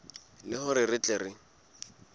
le hore re tle re